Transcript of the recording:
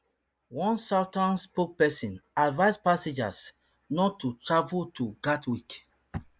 one southern spokesperson advise passengers not to travel to gatwick